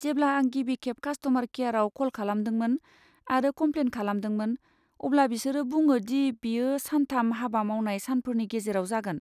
जेब्ला आं गिबिखेब कास्ट'मार केयाराव कल खालामदोंमोन आरो कमप्लेन खालामदोंमोन अब्ला बिसोरो बुङो दि बेयो सान थाम हाबा मावनाय सानफोरनि गेजेराव जागोन।